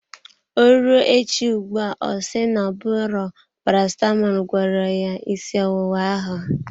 Ọ rụọ echi ugbua ọ si na-ọbụro Paracetamọl gwọrọ ya ịsị ọwụwa ahụ.